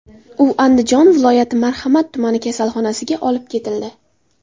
U Andijon viloyati Marhamat tumani kasalxonasiga olib ketildi.